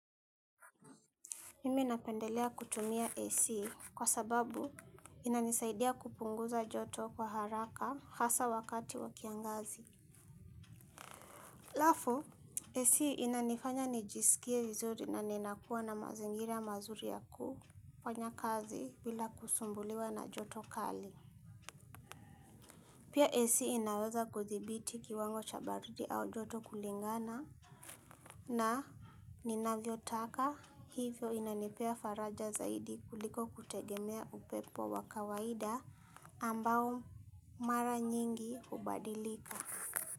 Mimi napendelea kutumia AC kwa sababu inanisaidia kupunguza joto kwa haraka hasa wakati wakiangazi. Alafu, AC inanifanya nijisikie vizuri na ninakuwa na mazingira mazuri yakufanyakazi bila kusumbuliwa na joto kali. Pia AC inaweza kudhibiti kiwango cha baridi au joto kulingana na ninavyo taka hivyo inanipea faraja zaidi kuliko kutegemea upepo wakawaida ambao mara nyingi hubadilika.